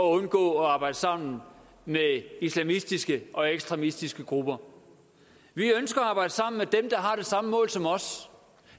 undgå at arbejde sammen med islamistiske og ekstremistiske grupper vi ønsker at arbejde sammen med dem der har det samme mål som os